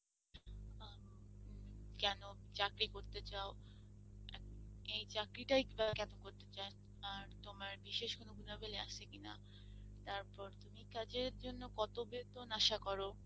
অ্যাঁ কেন চাকরি করতে চাও? এই চাকরিটাই কেন করতে চাও, তোমার তোমার বিশেষ কোনো গুনাবলী আছে কিনা তারপর তুমি কাজের জন্য কত বেতন আসা কর?